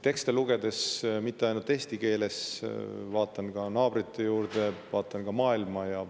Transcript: Tekste loen mitte ainult eesti keeles, vaid vaatan ka naabrite juurde, vaatan ka maailma.